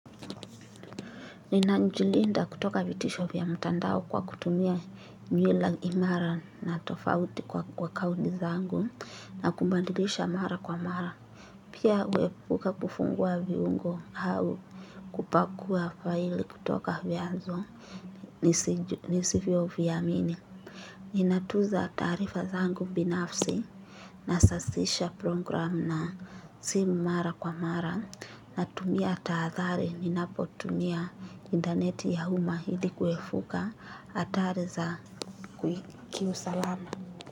Ninajilinda kutoka vita vya mtandao kwa kutumia mila imara na tofauti kwa account zangu na kubadilisha mara kwa mara. Pia huepuka kufungua viungo au kupakua file kutoka vya zonu. Nisivyo vyamini. Ninatuza tarifa zangu binafsi nasasisha program na simu mara kwa mara natumia tahadhari ninapotumia intaneti ya umma ili kuepuka hatari za kiusalama.